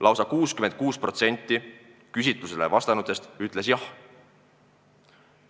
" Lausa 66% küsitlusele vastanutest ütles jah.